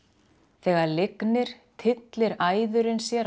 þegar lygnir tyllir æðurin sér á